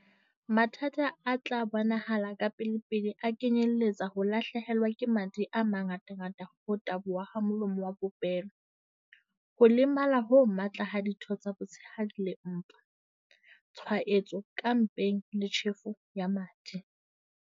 Mathata a a tla bonahala kapelepele a kenyeletsa ho lahlehelwa ke madi a mangata ho taboha ha molomo wa popelo, ho lemala ho matla ha ditho tsa botshehadi le mpa, tshwaetso ka mpeng le tjhefo ya madi.